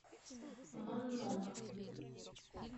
маннонов